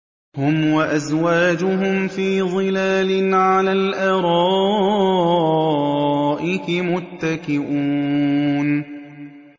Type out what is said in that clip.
هُمْ وَأَزْوَاجُهُمْ فِي ظِلَالٍ عَلَى الْأَرَائِكِ مُتَّكِئُونَ